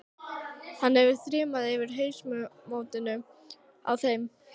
Hann hefði þrumað yfir hausamótunum á þeim.